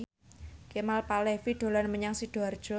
Kemal Palevi dolan menyang Sidoarjo